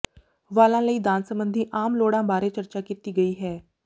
ਵਾਲਾਂ ਲਈ ਦਾਨ ਸੰਬੰਧੀ ਆਮ ਲੋੜਾਂ ਬਾਰੇ ਚਰਚਾ ਕੀਤੀ ਗਈ ਹੈ